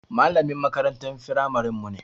Malamin makarantar firamaren mu ne.